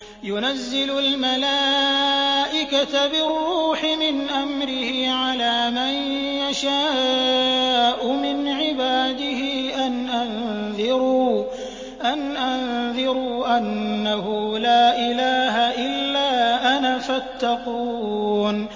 يُنَزِّلُ الْمَلَائِكَةَ بِالرُّوحِ مِنْ أَمْرِهِ عَلَىٰ مَن يَشَاءُ مِنْ عِبَادِهِ أَنْ أَنذِرُوا أَنَّهُ لَا إِلَٰهَ إِلَّا أَنَا فَاتَّقُونِ